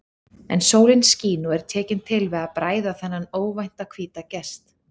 En sólin skín og er tekin til við að bræða þennan óvænta hvíta gest.